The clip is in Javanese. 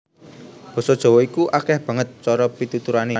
Basa Jawa iku akèh banget cara pituturané